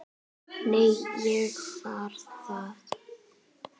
Nei, ég var þar